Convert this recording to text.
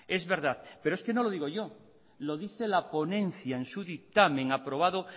es verdad pero es que no lo digo yo lo dice la ponencia en su dictamen aprobado